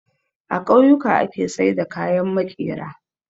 A kauyuka ake saida kayan makera